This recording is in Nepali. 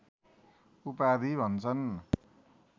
उपाधि भन्छन्